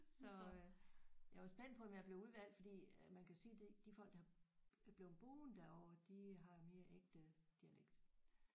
Så jeg var spændt på om jeg blev udvalgt fordi øh man kan jo sige det de folk der har blevet boende derover de har mere ægte dialekt